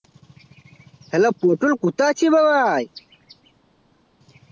hello Putul কোথায় আছি রে ভাই?